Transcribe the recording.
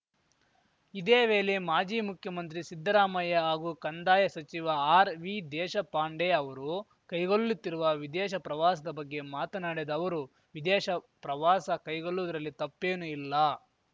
ಇದೇ ವೇಲೆ ಮಾಜಿ ಮುಖ್ಯಮಂತ್ರಿ ಸಿದ್ದರಾಮಯ್ಯ ಹಾಗೂ ಕಂದಾಯ ಸಚಿವ ಆರ್‌ವಿದೇಶಪಾಂಡೆ ಅವರು ಕೈಗೊಲ್ಲುತ್ತಿರುವ ವಿದೇಶ ಪ್ರವಾಸದ ಬಗ್ಗೆ ಮಾತನಾಡಿದ ಅವರು ವಿದೇಶ ಪ್ರವಾಸ ಕೈಗೊಲ್ಲುವುದರಲ್ಲಿ ತಪ್ಪೇನು ಇಲ್ಲ